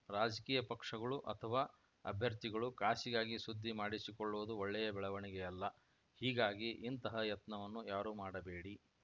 ರಾಜಕೀಯ ಪಕ್ಷಗಳು ಅಥವಾ ಅಭ್ಯರ್ಥಿಗಳು ಕಾಸಿಗಾಗಿ ಸುದ್ದಿ ಮಾಡಿಸಿಕೊಳ್ಳುವುದು ಒಳ್ಳೆಯ ಬೆಳವಣಿಗೆಯಲ್ಲ ಹೀಗಾಗಿ ಇಂತಹ ಯತ್ನವನ್ನು ಯಾರೂ ಮಾಡಬೇಡಿ